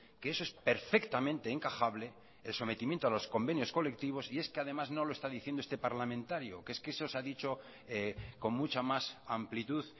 que eso es perfectamente encajable el sometimiento a los convenios colectivos y es que además no lo está diciendo este parlamentario que es que eso se ha dicho con mucha más amplitud